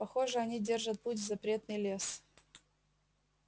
похоже они держат путь в запретный лес